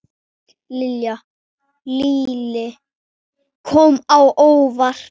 Lillý: Kom á óvart?